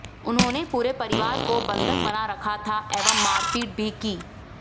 उन्होंने पूरे परिवार को बंधक बना रखा था एवं मारपीट भी की